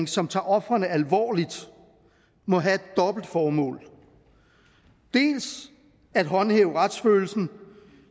som tager ofrene alvorligt må have et dobbelt formål dels at håndhæve retsfølelsen